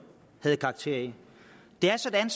havde karakter af det er sådan